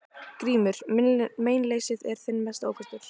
GRÍMUR: Meinleysið er þinn mesti ókostur.